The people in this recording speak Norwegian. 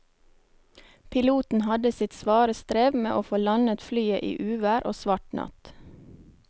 Piloten hadde sitt svare strev med å få landet flyet i uvær og svart natt.